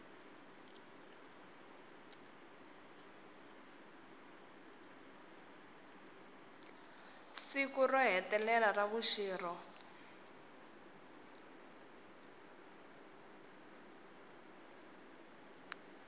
siku ro hetelela ra vuxirho